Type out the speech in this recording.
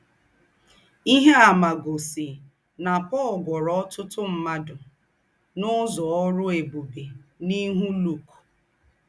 Íhe àmà gósì ná Pọ̀l gwúọ̀rọ̀ ọ́tùtù m̀ádụ́ n’ụ́zọ̀ ọ́rụ́ ébùbè n’íhú Luk.